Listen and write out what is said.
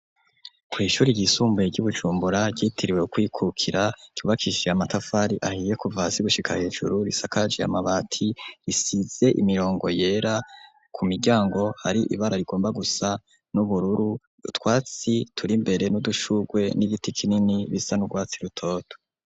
Kw'ishuri ryisumbuye ry'i Bujumbura ryitiriwe kwikukira kibakishiya matafari ahiye kuvasi gushika hejuru risakaji ya mabati risize imirongo yera ku miryango hari ibara rigomba gusa n'ubururu twatsi turi mbere n'udushugwe n'iditi kinini bisa n'ubwatsi rutoto.